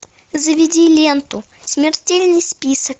заведи ленту смертельный список